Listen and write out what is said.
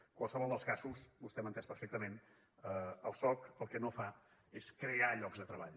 en qualsevol dels casos vostè m’ha entès perfectament el soc el que no fa és crear llocs de treball